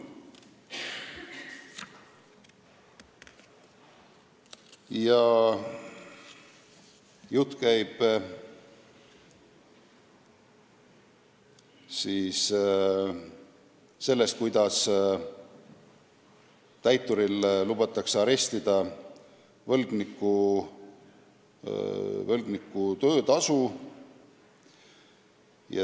Jutt käib sellest, kuidas võib täitur arestida võlgniku töötasu.